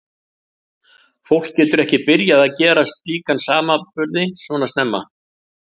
Fólk getur ekki byrjað að gera slíka samanburði svona snemma.